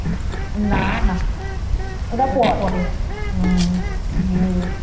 না না ওটা পর হম